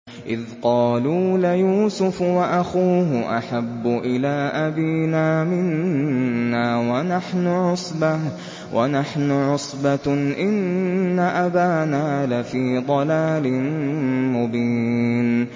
إِذْ قَالُوا لَيُوسُفُ وَأَخُوهُ أَحَبُّ إِلَىٰ أَبِينَا مِنَّا وَنَحْنُ عُصْبَةٌ إِنَّ أَبَانَا لَفِي ضَلَالٍ مُّبِينٍ